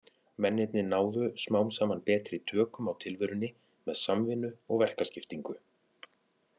Mennirnir náðu smám saman betri tökum á tilverunni með samvinnu og verkaskiptingu.